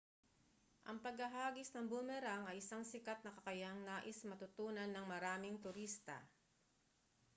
ang paghahagis ng boomerang ay isang sikat na kakayahang nais matutunan ng maraming turista